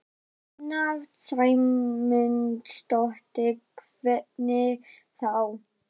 Sunna Sæmundsdóttir: Hvernig þá?